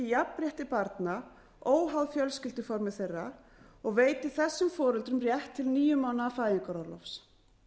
jafnrétti barna óháð fjölskylduformi þeirra og veiti þessum foreldrum rétt til níu mánaða fæðingarorlofs